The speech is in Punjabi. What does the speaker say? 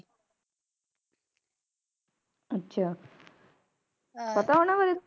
. ਅੱਛਾ ਪਤਾ ਹੈ ਨਾ ਫਿਰ